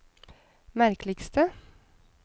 merkeligste